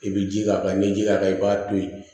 I bi ji k'a kan n'i ye ji k'a kan i b'a to yen